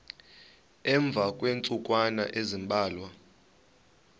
emva kweentsukwana ezimbalwa